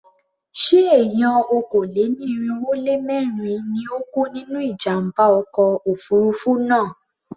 Ṣé èèyàn okòó-lé-ní-irínwó-lé-mẹ́rin ni ó kú nínú ìjàmbá ọkọ̀ òfurufú náà?